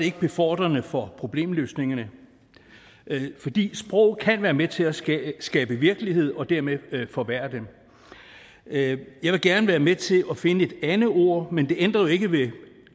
ikke befordrende for problemløsningerne fordi sprog kan være med til at skabe skabe virkelighed og dermed forværre det jeg vil gerne være med til at finde et andet ord men det ændrer jo ikke ved